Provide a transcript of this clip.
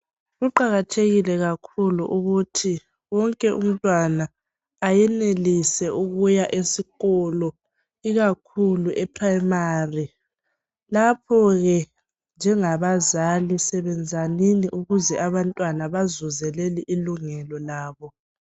Kuqakathekile kakhulu ukuthi wonke umntwana ayenelise ukuya esikolo ikakhulu eprimari lapho ke njengabazali sebenzanini ukuze abantwana bazuze ilungelo labo.